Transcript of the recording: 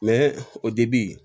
o dibi